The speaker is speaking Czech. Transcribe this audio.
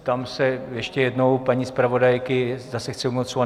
Ptám se ještě jednou paní zpravodajky, zda se chce ujmout slova.